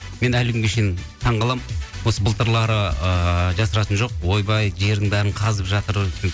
мен әлі күнге шейін таңқаламын осы былтырлары ыыы жасыратыны жоқ ойбай жердің бәрін қазып жатыр